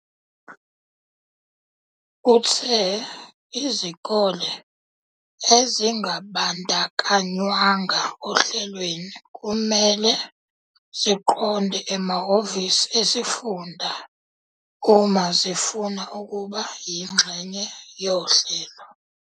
Uthe izikole ezingabandakanywanga ohlelweni kumele ziqonde emahhovisi esifunda uma zifuna ukuba yingxenye yohlelo.